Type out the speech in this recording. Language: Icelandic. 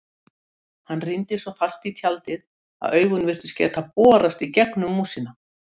Hann rýndi svo fast í tjaldið að augun virtust geta borast í gegnum músina.